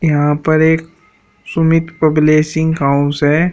यहां पर एक सुमित पब्लिशिंग हाउस है।